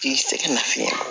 K'i sɛgɛn nafiyɛn